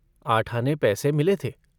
आठ आने पैसे मिले थे।